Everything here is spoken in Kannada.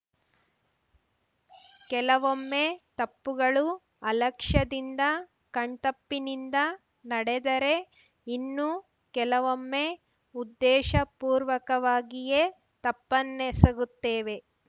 ಕೆಲವೊಮ್ಮೆ ತಪ್ಪುಗಳು ಅಲಕ್ಷ್ಯದಿಂದ ಕಣ್ತಪ್ಪಿನಿಂದ ನಡೆದರೆ ಇನ್ನು ಕೆಲವೊಮ್ಮೆ ಉದ್ದೇಶಪೂರ್ವಕವಾಗಿಯೇ ತಪ್ಪನ್ನೆಸಗುತ್ತೇವೆ